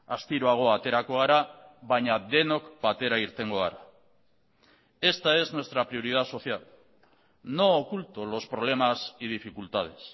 astiroago aterako gara baina denok batera irtengo gara esta es nuestra prioridad social no oculto los problemas y dificultades